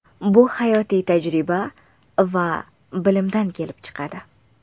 Bu hayotiy tajriba va bilimdan kelib chiqadi.